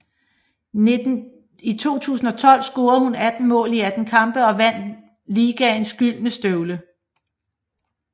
I 2012 scorede hun 18 mål i 18 kampe og vandt ligaens Gyldne Støvle